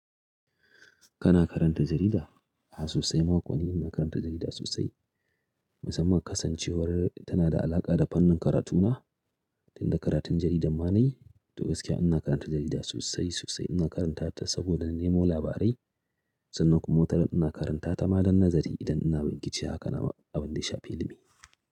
Kana karanta jarida? A'a sosai ma kullum ina karanta jarida sosai. Musamman kasancewar tana da alaƙa da fannin karatu na. Tunda karatun jaridan ma na yi. To gaskiya ina karanta jarida sosai sosai. Ina karanta ta saboda na nemo labarai. Sannan kuma wataran ina karanta ta ma don azari idan ina bincike akan a abunda ya shafi ilimi.